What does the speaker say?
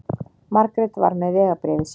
Margrét var með vegabréfið sitt.